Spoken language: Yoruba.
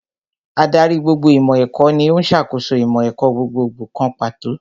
Ádárì gbogbo ìmọ̀ ẹ̀kọ́ ní ó ń ṣàkóso ìmọ̀ ẹ̀kọ́ gbogbogbò kan pàtó